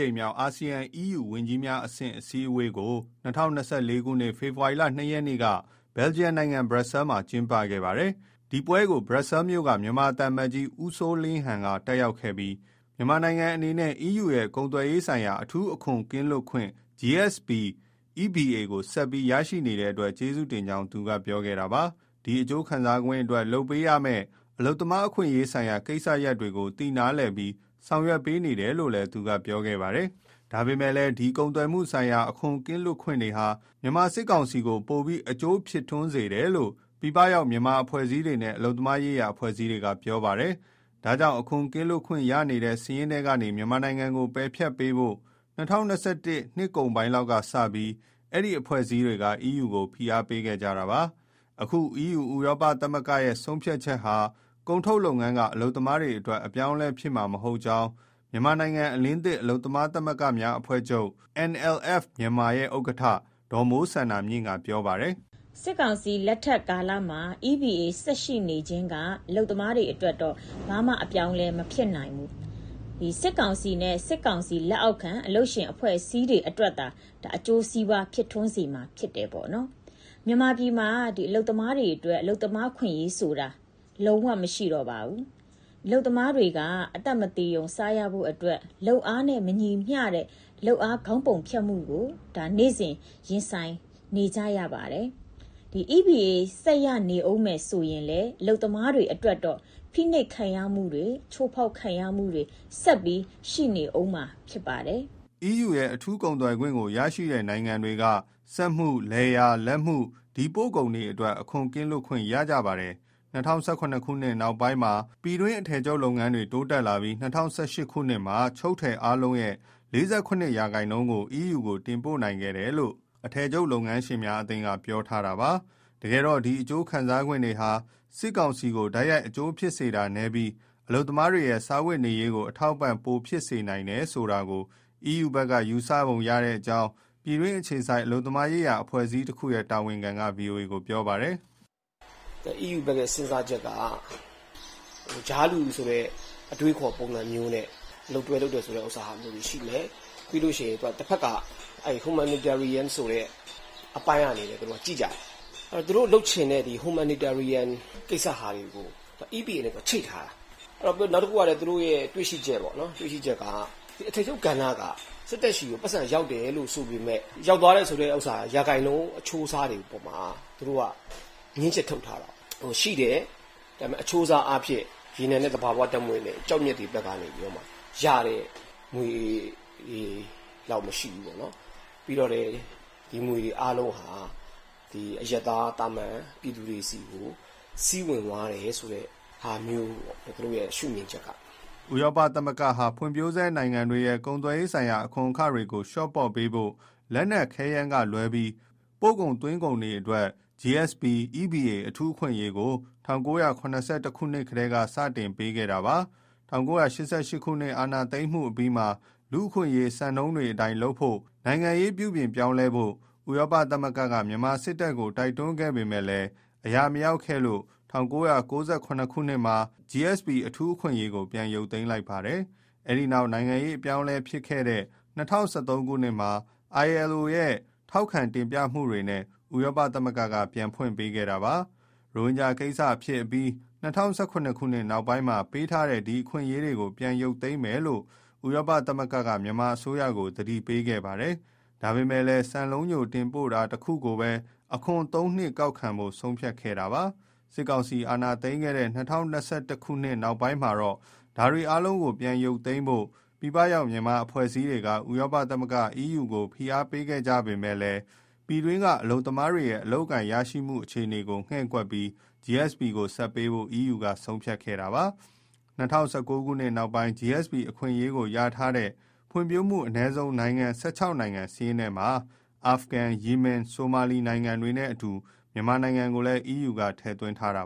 ြိမ်မြောက် အာဆီယံ-အီးယူ ဝန်ကြီးများအဆင့် အစည်းအဝေး (24th ASEAN-EU Ministerial Meeting) ကို ၂၀၂၄ ဖေဖော်ဝါရီ ၂ ရက်က ဘယ်ဂျီယံနိုင်ငံ၊ ဘရပ်ဆဲလ်မြို့မှာ ကျင်းပခဲ့ပါတယ်။ ဒီပွဲကို ဘရပ်ဆဲလ်မြို့က မြန်မာသံအမတ်ကြီး ဦးစိုးလင်းဟန်က တက်ရောက်ခဲ့ပြီး မြန်မာနိုင်ငံအနေနဲ့ အီးယူရဲ့ ကုန်သွယ်ရေးဆိုင်ရာ အထူးအခွန်ကင်းလွတ်ခွင့် GSP/EBA ကို ဆက်ပြီးရရှိနေတဲ့အတွက် ကျေးဇူးတင်ကြောင်း သူကပြောခဲ့တာပါ။ ဒီအကျိုးခံစားခွင့်အတွက် လုပ်ပေးရမဲ့ အလုပ်သမားအခွင့်အရေးဆိုင်ရာ ကိစ္စရပ်တွေကို သိနားလည်ပြီး ဆောင်ရွက်ပေးနေတယ်လို့လည်း သူကပြောခဲ့ပါတယ်။ ဒါပေမဲ့ ဒီကုန်သွယ်မှုဆိုင်ရာ အခွန်ကင်းလွတ်ခွင့်တွေဟာ မြန်မာစစ်ကောင်စီကို ပိုပြီး အကျိုးဖြစ်ထွန်းနေတယ်လို့ ပြည်ပရောက် မြန်မာ အဖွဲ့အစည်းတွေနဲ့ အလုပ်သမားရေးရာ အဖွဲ့အစည်းတွေက ပြောပါတယ်။ ဒါကြောင့် အခွန်ကင်းလွတ်ခွင့်စာရင်းထဲကနေ မြန်မာနိုင်ငံကို ပယ်ဖျက်ပေးဖို့အတွက်လည်း ၂၀၂၁ နှစ်ကုန်ပိုင်းကစလို့ ဒီအဖွဲ့အစည်းတွေက အီးယူကို ဖိအားပေးခဲ့ကြတာပါ။ အခု ဥရောပသမဂ္ဂ အီးယူရဲ့ ဆုံးဖြတ်ချက်ဟာ ကုန်ထုတ်လုပ်ငန်းက အလုပ်သမားတွေအတွက် အပြောင်းအလဲ ဖြစ်မှာမဟုတ်ကြောင်း မြန်မာနိုင်ငံ အလင်းသစ် အလုပ်သမားသမဂ္ဂများ အဖွဲ့ချုပ် NLF-Myanmar ရဲ့ ဥက္ကဋ္ဌ ဒေါ်မိုးစန္ဒာမြင့်က ပြောပါတယ်။ " စစ်ကောင်စီလက်ထက်မှာ EBA ဆက်ရှိနေခြင်းက အလုပ်သမားတွေ အတွက်တော့ ဘာမှအပြောင်းအလဲ မဖြစ်နိုင်ဘူး။ စစ်ကောင်စီနဲ့ စစ်ကောင်စီလက်အောက်ခံ အလုပ်ရှင် အဖွဲ့အစည်းတွေ အတွက်သာ အကျိုးစီးပွား ဖြစ်ထွန်းစေမှာ ဖြစ်တယ်ပေါ့နော်။ မြန်မာပြည်မှာ အလုပ်သမားတွေအတွက် အလုပ်သမားအခွင့်အရေး ဆိုတာ လုံးဝ မရှိတော့ပါဘူး။ အလုပ်သမားတွေက အသက်မသေရုံ စားရဖို့အတွက် လုပ်အားနဲ့မညီမျှတဲ့ ခေါင်းပုံဖြတ်မှုကို နေ့စဉ်ရင်ဆိုင် နေကြရပါတယ်။ ဒီ EBA ဆက်ရနေဦးမယ် ဆိုရင်လည်း အလုပ်သမားတွေ အတွက်တော့ ဖိနှိပ်ခံရမှုတွေ ချိုးဖောက်ခံရမှုတွေ ဆက်ပြီး ရှိနေဦးမှာ ဖြစ်ပါတယ်။" အီးယူရဲ့ အထူးကုန်သွယ်ခွင့်ကို ရရှိတဲ့ နိုင်ငံတွေက စက်မှု၊ လယ်ယာ၊ လက်မှု ဒီပို့ကုန်တွေအတွက် အခွန်ကင်းလွတ်ခွင့် ရကြပါတယ်။ ၂၀၁၇ နောက်ပိုင်းမှာ ပြည်တွင်း အထည်ချုပ်လုပ်ငန်းတွေ တိုးတက်လာပြီး ၂၀၁၈မှာ ချုပ်ထည်အားလုံးရဲ့ ၄၇ရာခိုင်နှုန်းကို အီးယူကို တင်ပို့နိုင်ခဲ့တယ်လို့ အထည်ချုပ်လုပ်ငန်းရှင်အသင်းက ပြောထားတာပါ။ တကယ်တော့ ဒီအကျိုးခံစားခွင့်တွေဟာ စစ်ကောင်စီကို တိုက်ရိုက်အကျိုးဖြစ်စေတာနည်းပြီး အလုပ်သမားတွေရဲ့ စားဝတ်နေရေးကို အထောက်အပံ့ ပိုဖြစ်နိုင်တယ်ဆိုတာ အီးယူဘက်က ယူဆပုံရကြောင်း ပြည်တွင်းအခြေစိုက် အလုပ်သမားရေးရာ အဖွဲ့အစည်းတခုရဲ့ တာဝန်ခံက ဗွီအိုအေကို ပြောပါတယ်။ " အီးယူဘက်ရဲ့ စဉ်းစားချက်က ကြားလူဆိုတဲ့ အတွေးအခေါ်ပုံစံမျိုးနဲ့ အလုပ်တွဲလုပ်တဲ့ ပုံစံမျိုးတွေရှိမယ်။ တဖက်က humanitarian ဆိုတဲ့ အပိုင်းကနေ သူတို့က ကြည့်ကြတယ်။ သူတို့လုပ်ချင်တဲ့ humanitarian ကိစ္စဟာတွေကို သူက EPA နဲ့ချိတ်ထားတယ်။ နောက်တခုက သူတို့ရဲ့ တွေ့ရှိချက်ပေါ့နော် အထည်ချုပ်ကဏ္ဍက စစ်တပ်ဆီ ပိုက်ဆံရောက်တယ် ဆိုပေမဲ့၊ ရောက်သွားတယ်ဆိုတဲ့ဟာ ရာခိုင်နှုန်း အချိုးအစားတွေအပေါ်မှာ သူတို့က ငြင်းချက်ထုတ်ထားတာ။ ရှိတယ် ဒါပေမဲ့ အချိုးအစားအားဖြင့် ရေနံနဲ့သဘာဝဓာတ်ငွေ့၊ ကျောက်မျက်တွေ ဘက်ကနေရတဲ့ ငွေတွေလောက် မရှိဘူးပေါ့နော်။ ပြီးတော့လည်း ဒီငွေတွေအားလုံးဟာ အရပ်သား သာမန်ပြည်သူတွေဆီကို စီးဝင်သွားတယ်ဆိုတဲ့ ဟာမျိုးပေါ့ သူတို့ရှုမြင်ချက်က။" ဥရောပသမဂ္ဂဟာ ဖွံ့ဖြိုးဆဲနိုင်ငံတွေရဲ့ ကုန်သွယ်ရေးဆိုင်ရာ အခွန်အခတွေကို လျှော့ပေါ့ပေးဖို့ လက်နက်ခဲယမ်းကလွဲပြီး ပို့ကုန်၊ သွင်းကုန်တွေအတွက် GSP/EBA အထူးခွင့်အရေးကို ၁၉၇၁ခုနှစ်ကတည်းက စတင်ပေးခဲ့တာ ဖြစ်ပါတယ်။ ၁၉၈၈ အာဏာသိမ်းမှုအပြီးမှာ လူ့အခွင့်အရေးစံနှုန်းအတိုင်းလုပ်ဖို့၊ နိုင်ငံရေး ပြုပြင်ပြောင်းလဲဖို့ ဥရောပသမဂ္ဂက မြန်မာစစ်တပ်ကို တိုက်တွန်းခဲ့ပေမဲ့ အရာမရောက်ခဲ့လို့ ၁၉၉၇ မှာ GSP အထူးအခွင့်အရေးကို ပြန်ရုတ်သိမ်းလိုက်ပါတယ်။ အဲဒီနောက် နိုင်ငံရေးအပြောင်းအလဲဖြစ်တဲ့ ၂၀၁၃ မှာ ILO ရဲ့ ထောက်ခံ တင်ပြမှုတွေနဲ့ ဥရောသမဂ္ဂက ပြန်ဖွင့်ပေးလိုက်တာပါ။ ရိုဟင်ဂျာကိစ္စတွေဖြစ်အပြီး ၂၀၁၇ နောက်ပိုင်းမှာ ပေးထားတဲ့ ဒီ အခွင့်အရေးတွေကို ပြန်ရုတ်သိမ်းမယ်လို့ ဥရောပ သမဂ္ဂက မြန်မာအစိုးရကို သတိပေးခဲ့ပါတယ်။ ဒါပေမဲ့ ဆန်လုံညိုတင်ပို့တာ တခုကိုပဲ အခွန် ၃နှစ်ကောက်ဖို့ ဆုံးဖြတ်ခဲ့ကြတာပါ။ စစ်ကောင်စီ အာဏာသိမ်းတဲ့ ၂၀၂၁ နောက်ပိုင်းမှာ ဒါတွေအားလုံးကို ပြန်ရုတ်သိမ်းဖို့ ပြည်ပရောက် မြန်မာအဖွဲ့အစည်းတွေက ဥရောပသမဂ္ဂ EU ကို ဖိအားပေးခဲ့ကြပေမဲ့ ပြည်တွင်းက အလုပ်သမားတွေရဲ့ အလုပ်အကိုင်ရရှိမှု အခြေအနေတွေကို ငဲ့ကွက်ပြီး GSP ကိုဆက်ပေးဖို့ EU က ဆုံးဖြတ်ခဲ့တာ ဖြစ်ပါတယ်။ ၂၀၁၉ နောက်ပိုင်း GSP အခွင့်အရေးကိုရထားတဲ့ ဖွံ့ဖြိုးမှုအနည်းဆုံး ၁၆ နိုင်ငံစာရင်းထဲမှာ အာဖဂန်နစ္စတန်၊ ယီမင်၊ ဆိုမာလီ နိုင်ငံတွေနဲ့အတူ မြန်မာနိုင်ငံကိုလည်း အီးယူက ထည့်သွင်းထားတာ